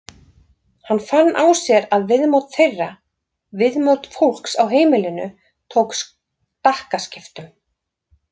Hann fann á sér að viðmót þeirra, viðmót fólks á heimilinu tók stakkaskiptum.